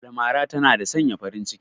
Almara tana da sanya farin ciki